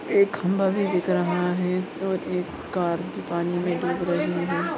एक खंबा भी दिख रहा है और एक कार भी पानी मे डूब रही है।